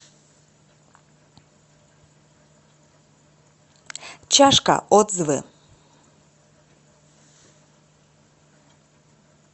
чашка отзывы